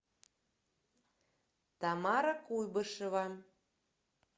тамара куйбышева